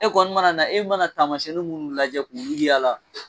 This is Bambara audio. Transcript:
E kɔni mana na, e mana tamasiɲɛn minnu lajɛ k'u y'a la .